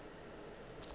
ge e le go re